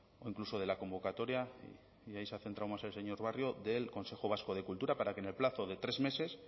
o incluso de la convocatoria y ahí se ha centrado más el señor barrio del consejo vasco de cultura para que en el plazo de tres meses